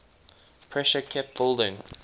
pressure kept building